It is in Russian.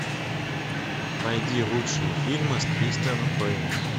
найди лучшие фильмы с кристианом бэйлом